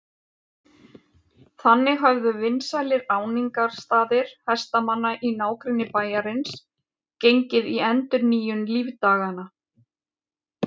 Þannig höfðu vinsælir áningarstaðir hestamanna í nágrenni bæjarins gengið í endurnýjung lífdaganna.